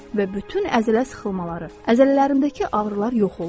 Və bütün əzələ sıxılmaları, əzələlərdəki ağrılar yox oldu.